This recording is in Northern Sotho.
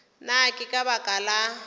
na ke ka baka la